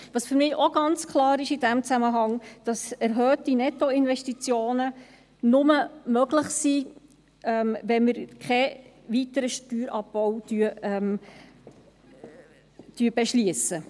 Was für mich in diesem Zusammenhang auch ganz klar ist, ist, dass erhöhte Nettoinvestitionen nur möglich sind, wenn wir keinen weiteren Steuerabbau beschliessen.